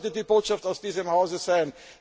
Das sollte die Botschaft aus diesem Hause sein!